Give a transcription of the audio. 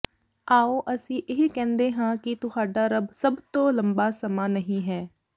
ਆਓ ਅਸੀਂ ਇਹ ਕਹਿੰਦੇ ਹਾਂ ਕਿ ਤੁਹਾਡਾ ਰੱਬ ਸਭ ਤੋਂ ਲੰਬਾ ਸਮਾਂ ਨਹੀਂ ਹੈ